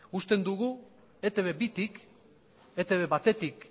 uste dugu eitb bitik eitb batetik